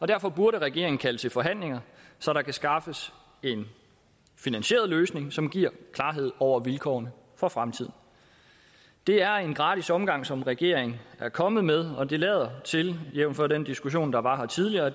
derfor burde regeringen kalde til forhandlinger så der kan skaffes en finansieret løsning som giver klarhed over vilkårene for fremtiden det er en gratis omgang som regeringen er kommet med og det lader til jævnfør den diskussion der var her tidligere